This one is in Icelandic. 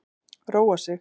Róa sig.